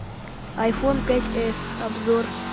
айфон пять эс обзор